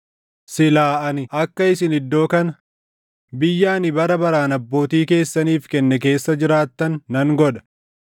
silaa ani akka isin iddoo kana, biyya ani bara baraan abbootii keessaniif kenne keessa jiraattan nan godha.